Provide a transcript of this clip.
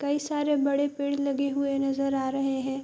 कई सारे बड़े पेड़ लगे हुए नज़र आ रहे है ।